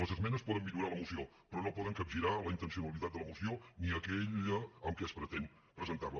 les esmenes poden millorar la moció però no poden capgirar la intencionalitat de la moció ni aquella amb la que es pretén presentar la